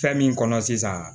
Fɛn min kɔnɔ sisan